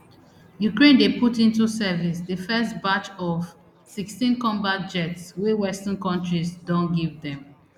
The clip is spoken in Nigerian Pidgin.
ukraine dey put into service di first batch of fsixteen combat jets wey western kontris don give dem